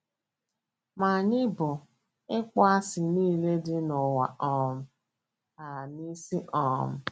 “ Ma anyị bu ịkpọasị nile dị n’ụwa um a n’isi um. ”